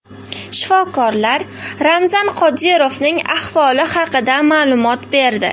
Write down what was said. Shifokorlar Ramzan Qodirovning ahvoli haqida ma’lumot berdi.